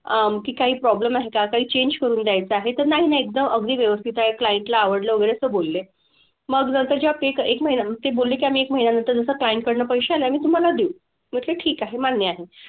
अह की काही problem आहे का? काही change करून द्यायचं आहे, तर नाही नाही एकदम अगदी व्यवस्थित आहे. Client ला आवडलं वगैरे असं बोलले. मग नंतर जेव्हा pay एक महिना, ते बोलले की आम्ही एक महिन्यानंतर जसा client कडनं पैसे आल्यावर आम्ही तुम्हाला देऊ. मी म्हंटलं ठीक आहे, मान्य आहे.